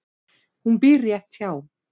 Hún býr rétt hjá.